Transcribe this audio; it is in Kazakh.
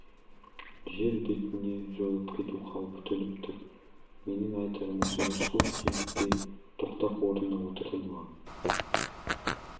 жер бетінен жойылып кету қаупі төніп тұр менің айтарым осы рысқұлов демікпей тоқтап орнына отырды маған